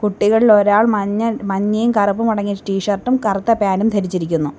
കുട്ടികളിൽ ഒരാൾ മഞ്ഞ മഞ്ഞയും കറുപ്പും അടങ്ങിയ ടി ഷർട്ടും കറുത്ത പാൻ്റും ധരിച്ചിരിക്കുന്നു.